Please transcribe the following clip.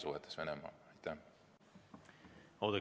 Oudekki Loone, palun!